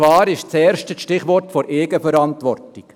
Das erste Stichwort ist die Eigenverantwortung.